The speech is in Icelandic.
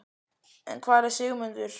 En hvar var Sigmundur?